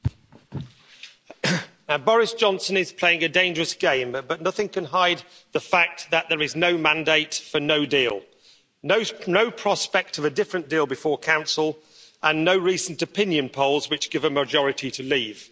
Mr President, Boris Johnson is playing a dangerous game, but nothing can hide the fact that there is no mandate for no deal, no prospect of a different deal before Council, and no recent opinion polls which give a majority to leave.